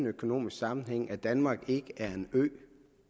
økonomiske sammenhænge at danmark ikke er en ø